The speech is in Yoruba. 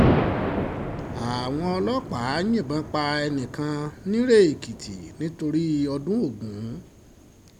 àwọn ọlọ́pàá yìnbọn pa ẹnì kan nirè-èkìtì nítorí ọdún ogun